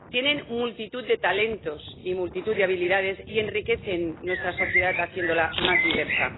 tienen multitud de talentos y multitud de habilidades y enriquecen nuestra sociedad haciéndola más diversa.